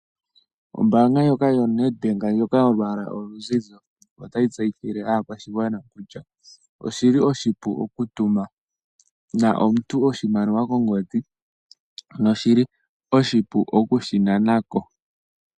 Ombaanga ndjoka yoNedbank yoNedbank ndjoka yolwaala oluzizi otayi tseyithile aakwashigwana kutya oshi li oshipu okutumina omuntu oshimaliwa kongodhi noshi li oshipu okushinana ko.